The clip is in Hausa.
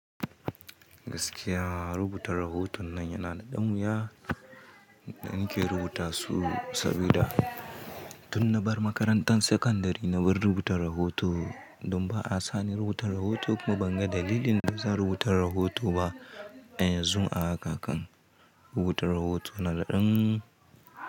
Gaskiya rubuta rahoton nan yana da ɗan wuya da in ke rubuta su, saboda tun na bar makarantar sakandare na bar rubuta rahoto. Don ba a sani rubuta rahoto kuma ban ga dalilin da zan rubuta rahoto ba. A yanzu ma a haka kan rubuta rahoto yana dan.